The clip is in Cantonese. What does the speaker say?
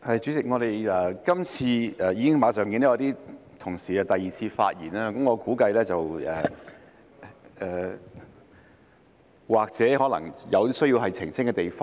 主席，我們今次......我已經看到一些同事馬上作第二次發言，我估計這或許可能是因為他們有需要澄清的地方。